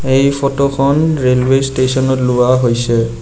এই ফটোখন ৰেলৱে ষ্টেচনত লোৱা হৈছে।